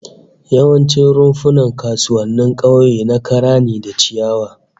Yawancin rumfunan kasuwannin kauye na kara da ciyawa ne